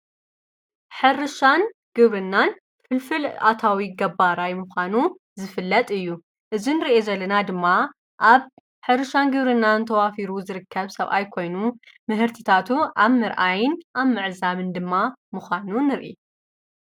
ሕርሻን ግብርናን ፍልፍል ኣታዊ ገባራይ ምዃኑ ዝፍለጥ እዩ እዝን ርየ ዘለና ድማ ኣብ ሕርሻን ግብርናን ተዋፊሩ ዝርከብ ሰብኣይ ኮይኑ ምህርትታቱ ኣብ ርኣይን ኣብ መዕዛምን ድማ ምዃኑ ንርኢ